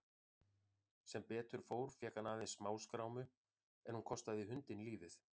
Sem betur fór fékk hann aðeins smáskrámu en hún kostaði hundinn lífið.